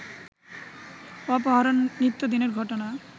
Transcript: অপহরণ নিত্যদিনের ঘটনা